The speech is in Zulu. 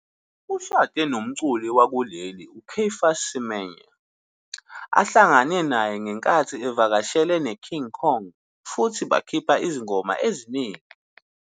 Ushade nomculi wakuleli, uCaiphus Semenya, ahlangane naye ngenkathi evakashele neKing Kong futhi bakhipha izingoma eziningi.